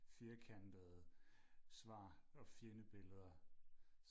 firkantede svar og fjendebilleder